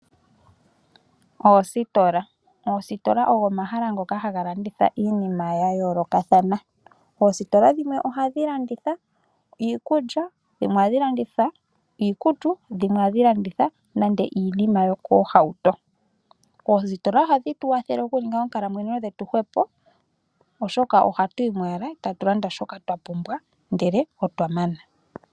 Oositola, oositola ogo omahala ngoka haga landithwa iinima ya yolokathana. Oositola dhimwe ohadhi landitha iikulya, dhimwe iikutu nodhimwe ohadhi landitha nande iinima yoko hauto, oostola ohadhi tu kwathele oku ninga onkalamwenyo dhetu hwepo oshoka ohatu yimo owala eta tu landa shoka twapumbwa ndele otwa mana.